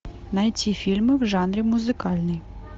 найти фильмы в жанре музыкальный